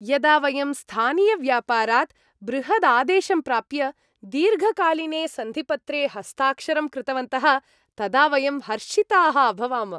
यदा वयं स्थानीयव्यापारात् बृहदादेशं प्राप्य दीर्घकालीने सन्धिपत्रे हस्ताक्षरं कृतवन्तः तदा वयं हर्षिताः अभवाम।